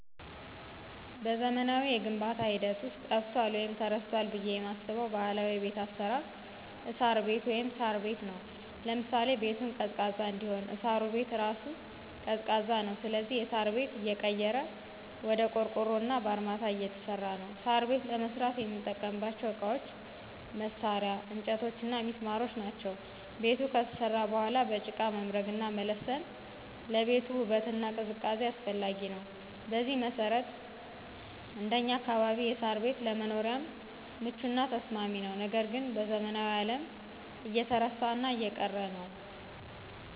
በዘመናዊው የግንባታ ሂደት ውስጥ ጠፍቷል ወይም ተረስቷል ብለው የማስበው ባህላዊ የቤት አሰራር እሳር ቤት(ሳር ቤት) ነው። ለምሳሌ -ቤቱን ቀዝቃዛ እንዲሆን እሳሩ ቤት እራሱ ቀዝቃዛ ነው ስለዚህ የሳር ቤት እየቀረ ወደ ቆርቆሮና በአርማታ እየተሰራ ነው። ሳር ቤት ለመስራት የምንጠቀምባቸው እቃዎች፣ መሳርያ፣ እንጨቶችና ሚስማሮች ናቸው። ቤቱ ከተሰራ በኋላ በጭቃ መምረግና መለሰን ለቤቱ ውበትና ቅዝቃዜ አስፈላጊ ነው። በዚህ መሰረት እንደኛ አካባቢ የሳር ቤት ለመኖሪያም ምቹና ተስማሚ ነው ነገር ግን በዘመናዊው አለም እየተረሳና እየቀረ ነው።